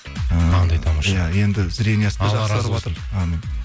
ы қандай тамаша иә енді зрениесі әумин